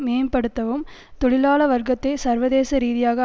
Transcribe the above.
மேம்படுத்தவும் தொழிலாள வர்க்கத்தை சர்வதேச ரீதியாக